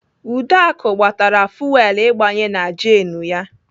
Uduaku gbatara fuwelu igbanye na jenụ ya.